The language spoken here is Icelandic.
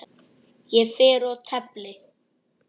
Ég fer og tefli!